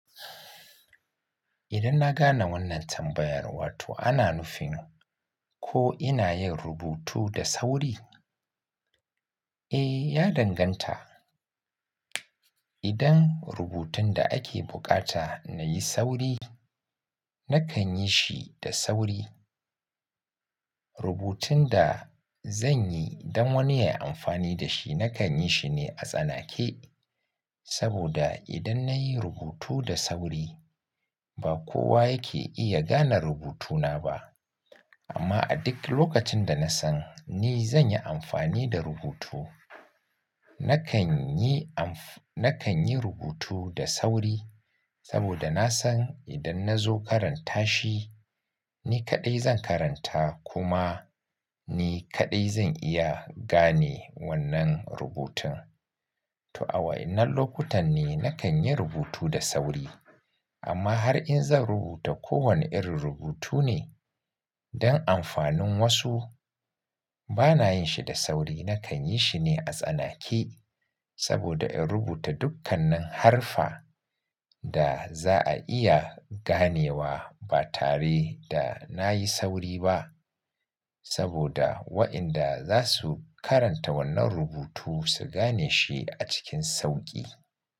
Idan na gane wannan tambayar, wato ana nufin ko ina yin rubutu da sauri? Eh, ya danganta. Idan rubutun da ake bukata na yi sauri, na kan yi shi da sauri. Rubutun da zan yi don wani ya yi amfani da shi, na kan yi shi ne a tsanake. Saboda idan na yi rubutu da sauri, ba kowa yake iya gane rubutuna ba. Amma a duk lokacin da na san ni zan yi amfani da rubutu, na kan yi amf-- na kan yi rubutu da sauri. Saboda na san idan na zo karanta shi, ni kaɗai zan karanta kuma ni kaɗai zan iya gane wannan rubutun. To a waɗannan lokutan ne na kan yi rubutu da sauri. Amma har in zan rubuta kowane irin rubutu ne don amfanin wasu, ba na yin shi da sauri. Na kan yi shi ne a tsanake. Saboda in rubuta dukkanin harfa da za a iya ganewa ba tare da na yi sauri ba. Saboda waɗanda za su karanta wannan rubutu, su gane shi a cikin sauƙi.